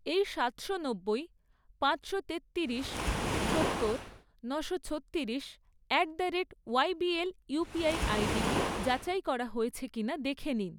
এই সাতশো নব্বই, পাঁচশো তেত্তিরিশ, সত্তর, নশো ছত্তিরিশ at the rate YBL UPI আইডিটি যাচাই করা হয়েছে কিনা দেখে নিন।